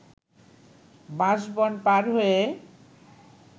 বাঁশবন পার হয়ে